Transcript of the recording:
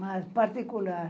Mas particular.